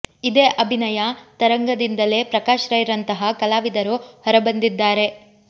ಇದೇ ಅಭಿನಯ ತರಂಗದಿಂದಲೇ ಪ್ರಕಾಶ್ ರೈ ರಂತಹ ಕಲಾವಿದರು ಹೊರ ಬಂದಿದ್ದಾರೆ